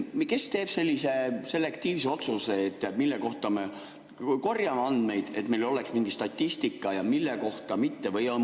Kes teeb sellise selektiivse otsuse, et mille kohta me korjame andmeid, et meil oleks mingi statistika, ja mille kohta mitte?